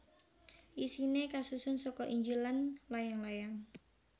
Isiné kasusun saka Injil lan layang layang